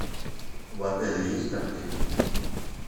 в отеле есть аптеки